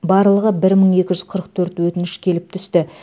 барлығы бір мың екі жүз қырық төрт өтініш келіп түсті